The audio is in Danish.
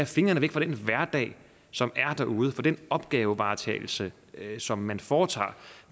fingrene væk fra den hverdag som er derude fra den opgavevaretagelse som man foretager